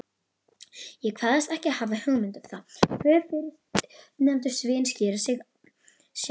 Ég kvaðst ekki hafa hugmynd um það.